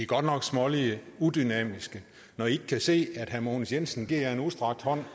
godt nok smålige udynamiske når i ikke kan se at herre mogens jensen giver jer en udstrakt hånd